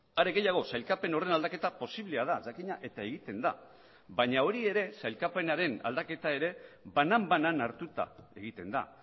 are gehiago sailkapen horren aldaketa posiblea da jakina eta egiten da baina hori ere sailkapenaren aldaketa ere banan banan hartuta egiten da